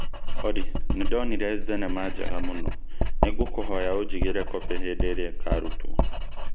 Olly, nĩ ndonire thenema njega mũno nĩ ngũkũhoya ũnjigĩire kobĩ hĩndĩ ĩrĩa ĩkarutwo